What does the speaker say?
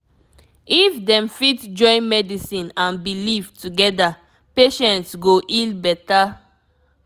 if dem fit join medicine and belief together patients go heal better